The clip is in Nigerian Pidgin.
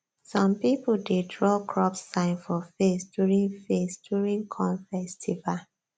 some people dey draw crop sign for face during face during corn festival